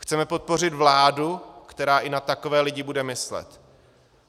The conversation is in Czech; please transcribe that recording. Chceme podpořit vládu, která i na takové lidi bude myslet.